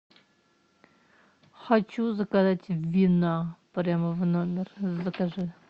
хочу заказать вина прямо в номер закажи